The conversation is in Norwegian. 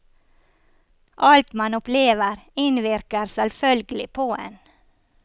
Alt man opplever, innvirker selvfølgelig på en.